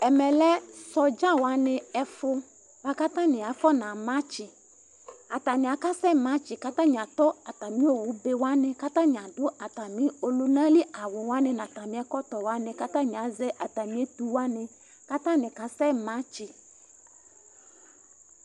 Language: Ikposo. Ɛmɛ lɛ soɖza waní ɛfu buaku atani afɔna matsi Atani akasɛ matsi Ku atani atɔ atami owu be waní Ku atani aɖu atami ɔlunali awu waní nu atami ɛkɔtɔ waní, ku atani azɛ atami etu waní Ku atani kasɛ matsi